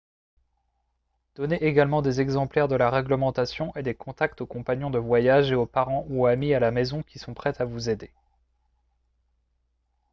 donnez également des exemplaires de la réglementation et des contacts aux compagnons de voyage et aux parents ou amis à la maison qui sont prêts à vous aider